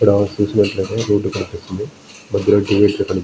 ఇక్కడ చూసినట్టయితే రోడ్ కనిపిస్తుంది . దగ్గర కనిపి--